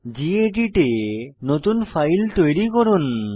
gedit এ নতুন file তৈরি করুন